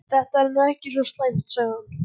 Þetta er nú ekki svo slæmt sagði hann.